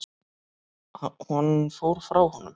Hann fór frá honum.